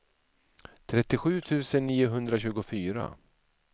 trettiosju tusen niohundratjugofyra